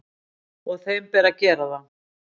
Og þeim ber að gera það.